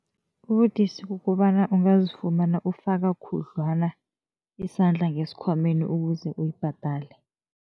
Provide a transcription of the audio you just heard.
Ubudisi kukobana ungazifumana ufaka khudlwana isandla ngesikhwameni ukuze uyibhadale.